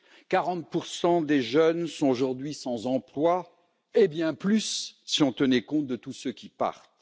40 des jeunes sont aujourd'hui sans emploi, et bien plus si on tenait compte de tous ceux qui partent.